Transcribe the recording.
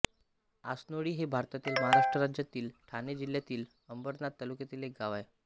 आसनोळी हे भारतातील महाराष्ट्र राज्यातील ठाणे जिल्ह्यातील अंबरनाथ तालुक्यातील एक गाव आहे